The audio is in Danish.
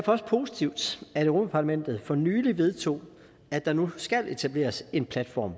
også positivt at europa parlamentet for nylig vedtog at der nu skal etableres en platform